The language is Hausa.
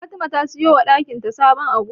Fatima ta siyo wa dakin ta sabon agogo.